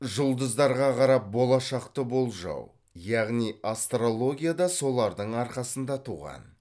жұлдыздарға қарап болашақты болжау яғни астрология да солардың арқасында туған